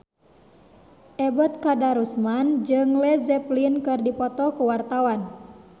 Ebet Kadarusman jeung Led Zeppelin keur dipoto ku wartawan